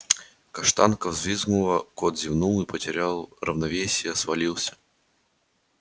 каштанка взвизгнула кот зевнул и потеряв равновесие свалился